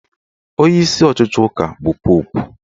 Onyeisi ọchịchị ụka bụ Popu